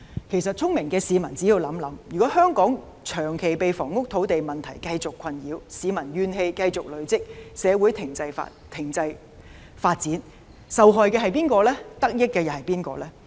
其實，聰明的市民只要想想，便知道如果香港長期被房屋土地問題繼續困擾，市民怨氣繼續積累，社會停滯發展，受害的是誰，得益的又是誰？